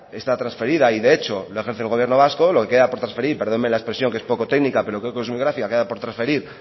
está transferida y de hecho la ejerce el gobierno vasco lo que queda por trasferir perdónenme la expresión que es poco técnica pero creo que es muy gráfica queda por transferir